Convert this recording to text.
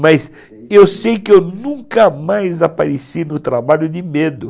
Mas eu sei que eu nunca mais apareci no trabalho de medo.